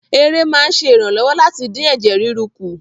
Ère máa ń ṣe ìrànlọ́wọ́ láti dín ẹ̀jẹ̀ ríru kù